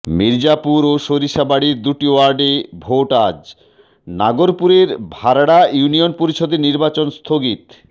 মির্জাপুর ও সরিষাবাড়ীর দুটি ওয়ার্ডে ভোট আজ নাগরপুরের ভারড়া ইউনিয়ন পরিষদের নির্বাচন স্থগিত